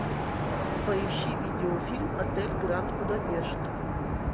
поищи видеофильм отель гранд будапешт